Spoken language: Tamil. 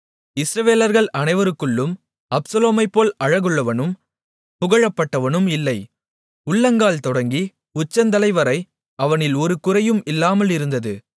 இஸ்ரவேலர்கள் அனைவருக்குள்ளும் அப்சலோமைப்போல் அழகுள்ளவனும் புகழப்பட்டவனும் இல்லை உள்ளங்கால் தொடங்கி உச்சந்தலைவரை அவனில் ஒரு குறையும் இல்லாமல் இருந்தது